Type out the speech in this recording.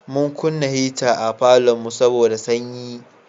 Mun kunna hita a falonmu saboda sanyi.